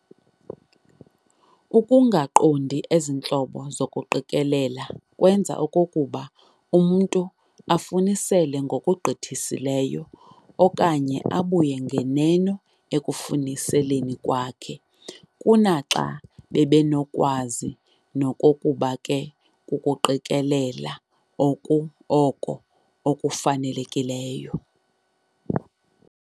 Ukungaqondi ezi ntlobo zokuqikelela kwenza okokuba umntu afunisele ngokugqithisileyo okanye abuye nganeno ekufuniseleni kwakhe, kunaxa bebenokwazi nokokuba ke kukuqikelela oko kufanelekileyo.